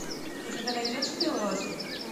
у тебя найдется белый остров